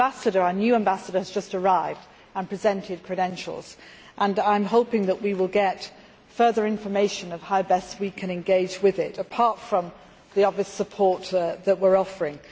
Our new ambassador has just arrived and presented credentials and I am hoping that we will get further information on how best we can engage with it, apart from the obvious support that we are offering.